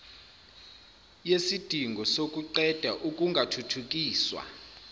yesidingo sokuqeda ukungathuthukiswa